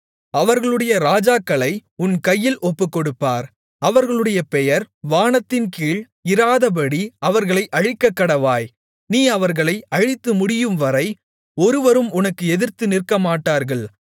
அவர்களுடைய ராஜாக்களை உன் கையில் ஒப்புக்கொடுப்பார் அவர்களுடைய பெயர் வானத்தின்கீழ் இராதபடி அவர்களை அழிக்கக்கடவாய் நீ அவர்களை அழித்துமுடியும்வரை ஒருவரும் உனக்கு எதிர்த்து நிற்கமாட்டார்கள்